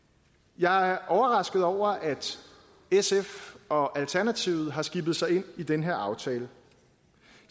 jeg er overrasket over at sf og alternativet har skibet sig ind i den her aftale